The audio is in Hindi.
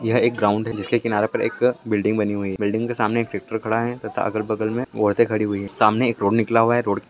यह एक ग्राउड है जिसके किनारे पर एक बिल्डिग बनी हुई है | बिल्डिग के सामने एक ट्रेक्टर खड़ा है तथा अगल बगल में औरते खड़ी हुई है | सामने एक रोड निकला हुआ है | रोड --